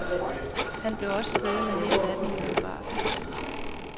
Han blev også siddende hele natten i biografen.